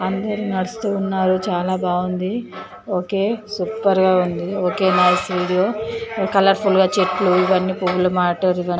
అందరూ నడుస్తూ ఉన్నారు చాలా బాగుంది ఒకే సూపర్ గా ఉంది. Okay nice video colourful గా చెట్లు ఇవన్నీ పువ్వులు మాటర్ --